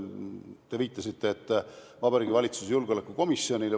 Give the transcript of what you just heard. Te viitasite Vabariigi Valitsuse julgeolekukomisjonile.